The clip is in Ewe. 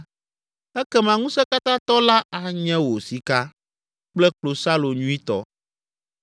ekema Ŋusẽkatãtɔ la anye wò sika kple klosalo nyuitɔ.